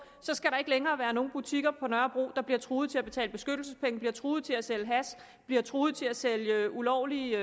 så skal der ikke længere være nogen butikker på nørrebro der bliver truet til at betale beskyttelsespenge bliver truet til at sælge hash bliver truet til at sælge ulovlige